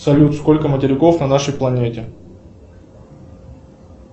салют сколько материков на нашей планете